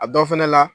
A dɔw fɛnɛ la